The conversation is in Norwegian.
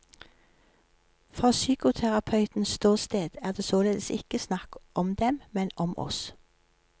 Fra psykoterapeutens ståsted er det således ikke snakk om dem, men om oss.